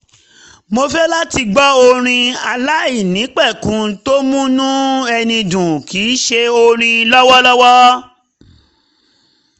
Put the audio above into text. mo fẹ́ láti gbọ́ orin aláìnípẹ̀kun tó múnú ẹni dùn kì í ṣe orin lọ́wọ́lọ́wọ́